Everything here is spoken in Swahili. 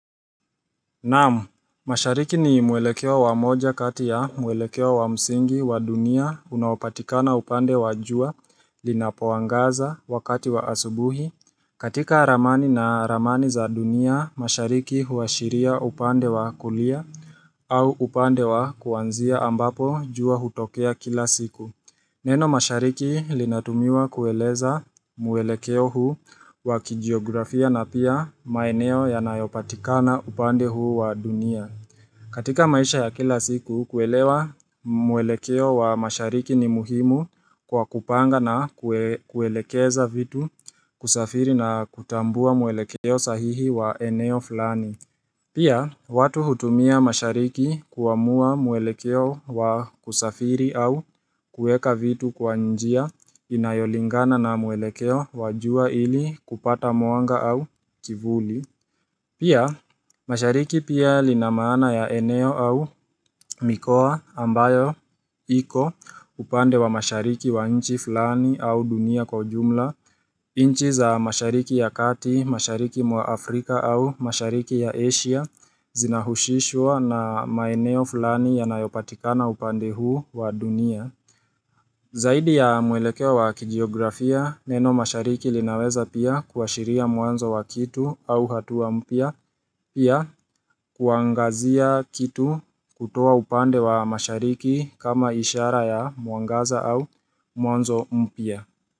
Naam, mashariki ni mwelekeo wa moja kati ya mwelekeo wa msingi wa dunia unapatikana upande wa jua linapoangaza wakati wa asubuhi. Katika ramani na ramani za dunia, mashariki huashiria upande wa kulia au upande wa kuanzia ambapo jua hutokea kila siku. Neno mashariki linatumiwa kueleza mwelekeo huu wa kijiografia na pia maeneo yanayopatikana upande huu wa dunia. Katika maisha ya kila siku, kuelewa mwelekeo wa mashariki ni muhimu kwa kupanga na kuelekeza vitu kusafiri na kutambua mwelekeo sahihi wa eneo flani. Pia, watu hutumia mashariki kuamua mwelekeo wa kusafiri au kueka vitu kwa njia inayolingana na mwelekeo wa jua ili kupata mwanga au kivuli. Pia, mashariki pia lina maana ya eneo au mikoa ambayo iko upande wa mashariki wa inchi fulani au dunia kwa ujumla, nchi za mashariki ya kati, mashariki mwa Afrika au mashariki ya Asia zinahusishwa na maeneo fulani yanayopatikana upande huu wa dunia. Zaidi ya mwelekeo wa kijiografia, neno mashariki linaweza pia kuashiria mwanzo wa kitu au hatua mpya pia kuangazia kitu kutoa upande wa mashariki kama ishara ya mwangaza au mwanzo mpya.